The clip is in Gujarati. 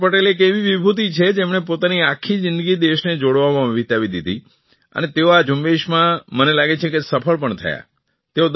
સરદાર પટેલ એક એવી વિભૂતિ છે જેમણે પોતાની આખી જિંદગી દેશને જોડવામાં વિતાવી દીધી અને તેઓ આ ઝુંબેશમાં મને લાગે છે કે સફળ પણ થયા